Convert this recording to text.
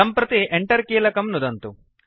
सम्प्रति Enter कीलकं नुदन्तु